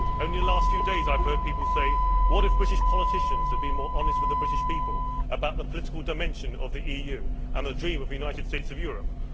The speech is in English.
Only in the last few days I have heard people say, what if British politicians had been more honest with the British people about the political dimension of the EU and the dream of a United States of Europe?